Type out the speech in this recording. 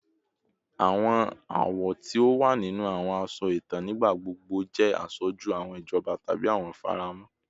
Awọn awọ ti o wa ninu awọn aṣọ itan nigbagbogbo jẹ aṣoju awọn ijọba tabi awọn ifaramọ